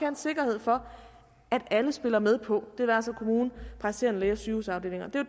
en sikkerhed for at alle spiller med på den altså kommune praktiserende læge og sygehusafdelinger det